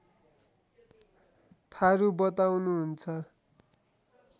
थारु बताउनुहुन्छ